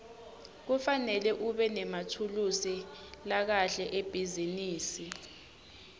kufanele ubenemathulusi lakahle ebhizinisi